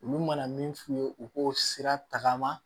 Olu mana min f'u ye u k'o sira tagama